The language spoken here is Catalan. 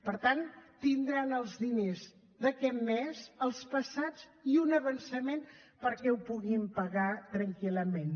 per tant tindran els diners d’aquest mes els passats i un avançament perquè ho puguin pagar tranquil·lament